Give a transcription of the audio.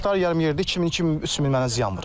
Hektar yarım yerdə 2000-3000 mənə ziyan vurub.